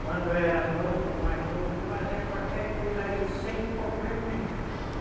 Quando eu era novo, mais novo, fazia qualquer coisa aí sem problema nenhum.